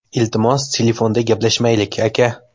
Iltimos, telefonda gaplashmaylik, aka.